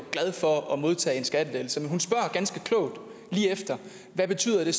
glad for at modtage en skattelettelse men hun så ganske klogt hvad betyder det